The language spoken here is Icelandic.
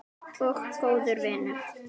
Og góður vinur.